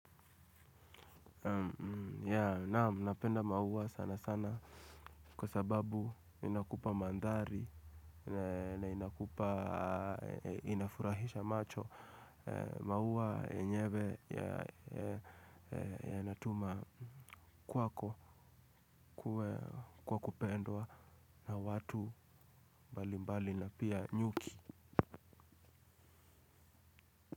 Naam napenda maua sana sana kwa sababu inakupa mandhari na inakupa inafurahisha macho. Maua yenyewe yanatuma kwako kuwa kupendwa na watu mbali mbali na pia nyuki.